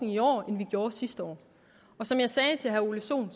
i år end vi gjorde sidste år og som jeg sagde til herre ole sohn